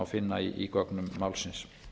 finna í gögnum málsins